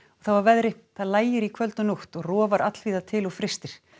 þá að veðri það lægir í kvöld og nótt og rofar allvíða til og frystir